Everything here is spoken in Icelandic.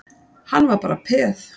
Hann var bara peð.